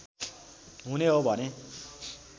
हुने हो भने